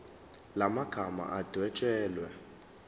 la magama adwetshelwe